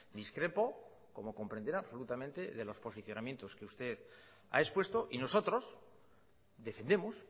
discrepo como comprenderá absolutamente de los posicionamientos que usted ha expuesto y nosotros defendemos